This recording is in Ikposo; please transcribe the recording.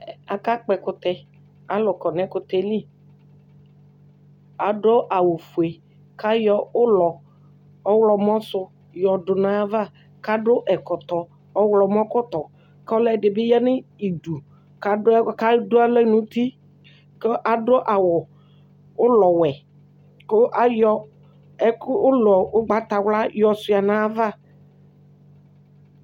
Akakpɔ ɛkʋtɛ Alʋ kɔ nʋ ɛkʋtɛ yɛ li Adʋ awʋfue kʋ ayɔ ʋlɔ ɔɣlɔmɔ sʋ yɔdʋ nʋ ayava kʋ adʋ ɛkɔtɔ ɔɣlɔmɔkɔtɔ kʋ ɔlʋɛdɩ bɩ ya nʋ idu kʋ adʋ adʋ alɔ nʋ uti kʋ adʋ awʋ ʋlɔwɛ kʋ ayɔ ɛkʋ ʋlɔ ʋgbatawla yɔsʋɩa nʋ ayava